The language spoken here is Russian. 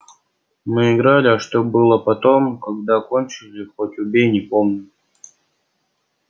мы играли а что было потом когда кончили хоть убей не помню